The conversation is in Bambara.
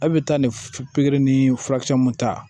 A' bɛ taa nin pikiri ni furakisɛ mun ta